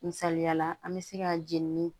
Misaliyala an bɛ se ka jenini